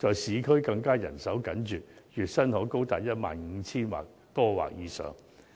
市區的人手更緊絀，月薪可高達 15,000 元或以上。